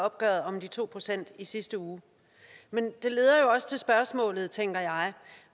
opgøret om de to procent i sidste uge men det leder jo også til spørgsmålet tænker jeg